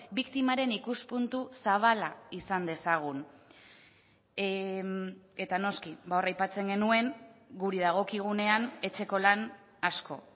biktimaren ikuspuntu zabala izan dezagun eta noski hor aipatzen genuen guri dagokigunean etxeko lan asko